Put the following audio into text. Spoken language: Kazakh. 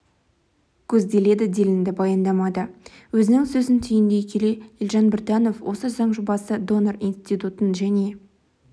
көзделеді делінді баяндамада өзінің сөзін түйіндей келе елжан біртанов осы заң жобасы донор институтын және